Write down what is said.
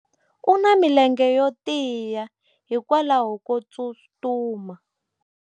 u na milenge yo tiya hikwalaho ko tsustuma